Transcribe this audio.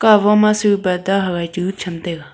parda hawai chu tham taiga.